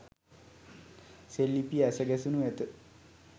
සෙල් ලිපිය ඇස ගැසෙණු ඇත.